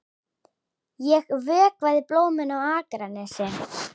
Ég vökvaði blómin á Akranesi.